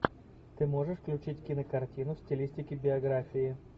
ты можешь включить кинокартину в стилистике биографии